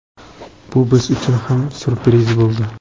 Bu biz uchun ham syurpriz bo‘ldi.